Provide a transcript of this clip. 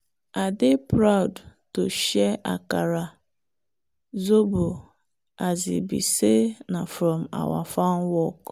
i dey proud to share akara zobo as e be say na from our farm work.